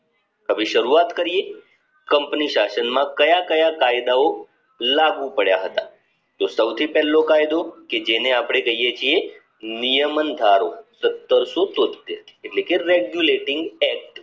હવે શરૂવાત કરીયે company શાસન માં ક્યાં ક્યાં કાયદાઓ લાગુ પડ્યા હતા તો સૌથી પેલો કાયદો કે જેને આપને કહીયે છીએ નિયમન ધારો સત્તરસો તોત્તેર એટલે કે regulating act